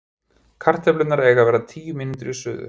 Kartöflurnar eiga eftir tíu mínútur í suðu.